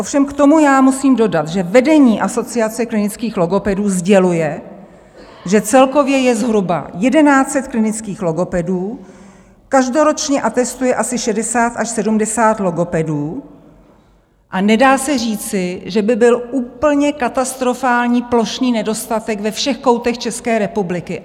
Ovšem k tomu musím dodat, že vedení Asociace klinických logopedů sděluje, že celkově je zhruba 1 100 klinických logopedů, každoročně atestuje asi 60 až 70 logopedů, a nedá se říci, že by byl úplně katastrofální, plošný nedostatek ve všech koutech České republiky.